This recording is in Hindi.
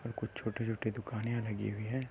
छोटे-छोटे दुखन यहाँ लगी हुई है।